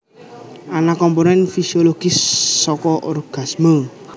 Ana komponen fisiologis saka orgasme